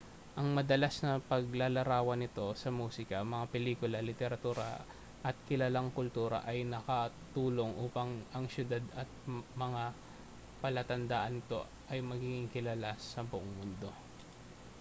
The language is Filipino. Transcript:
ang madalas na paglalarawan nito sa musika mga pelikula literatura at kilalang kultura ay nakatulong upang ang syudad at ang mga palatandaan nito ay magiging kilala sa buong mundo